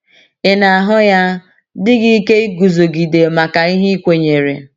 Ị na - ahụ ya dị gị ike iguzogide maka ihe i kwenyere?